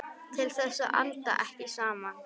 Til þess að anda ekki saman.